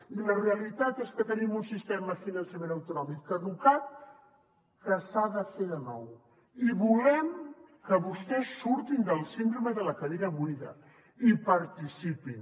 i la realitat és que tenim un sistema de finançament autonòmic caducat que s’ha de fer de nou i volem que vostès surtin de la síndrome de la cadira buida i hi participin